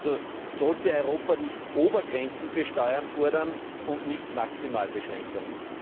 Also sollte Europa nicht Obergrenzen für Steuern fordern und nicht Minimalbeschränkungen?